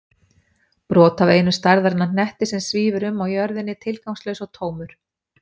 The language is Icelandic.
Brot af einum stærðarinnar hnetti sem svífur um á jörðinni tilgangslaus og tómur.